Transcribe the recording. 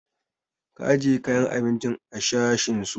Ka ajiye kayan abincin a sashen su!